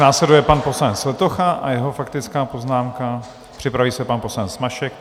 Následuje pan poslanec Letocha a jeho faktická poznámka, připraví se pan poslanec Mašek.